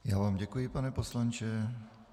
Já vám děkuji, pane poslanče.